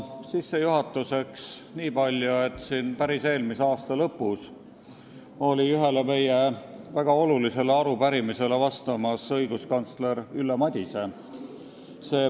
Sissejuhatuseks niipalju, et päris eelmise aasta lõpus oli ühele meie väga olulisele arupärimisele siin vastamas õiguskantsler Ülle Madise.